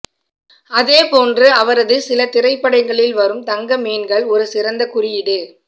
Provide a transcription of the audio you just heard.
அதேபோன்று அவரது சில திரைப்படங்களில் வரும் தங்க மீன்கள் ஒரு சிறந்த குறியீடு